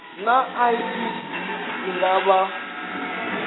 naa icd i nga vha